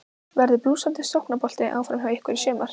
Verður blússandi sóknarbolti áfram hjá ykkur í sumar?